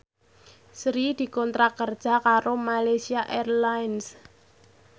Sri dikontrak kerja karo Malaysia Airlines